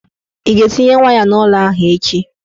Ị ga-etinye waya n'ụlọ ahụ echi?